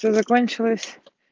всё закончилось